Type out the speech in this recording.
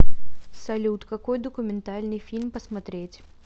салют какой документальный фильм посмотреть